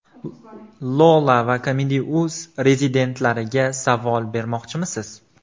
Lola va Comedy.uz rezidentlariga savol bermoqchimisiz?